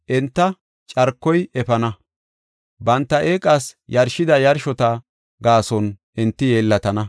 Enta carkoy efana; banta eeqas yarshida yarshota gaason enti yeellatana.”